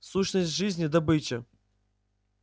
сущность жизни добыча